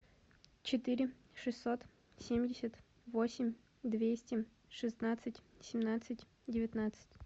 четыре шестьсот семьдесят восемь двести шестнадцать семнадцать девятнадцать